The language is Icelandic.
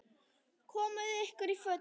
Komiði ykkur í fötin.